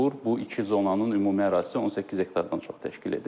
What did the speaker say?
Bu iki zonanın ümumi ərazisi 18 hektardan çox təşkil edir.